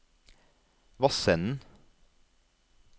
Vassenden